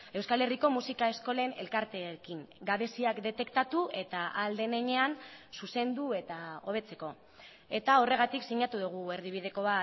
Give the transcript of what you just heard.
euskal herriko musika eskolen elkarteekin gabeziak detektatu eta ahal den heinean zuzendu eta hobetzeko eta horregatik sinatu dugu erdibideko